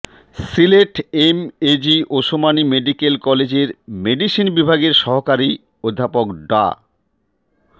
Sylhet M AG Osmani medical কলেজের medicine বিভাগের সহকারী অধ্যাপক ডা